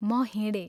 म हिंडे।